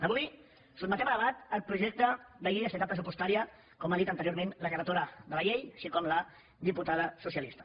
avui sotmetem a debat el projecte de llei d’estabilitat pressupostària com ha dit anteriorment la relatora de la llei així com la diputada socialista